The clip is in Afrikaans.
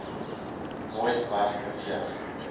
nooit weg beweeg